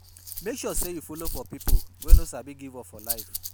Mek sure say yu follow for pipo wey no sabi give up for life